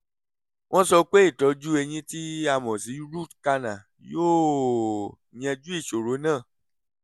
wọ́n sọ pé ìtọ́jú eyín tí a mọ̀ sí root canal yóò yanjú ìṣòro náà